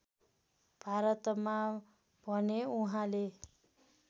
भारतमा भने उहाँले